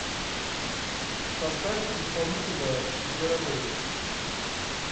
поставь исполнителя зверобой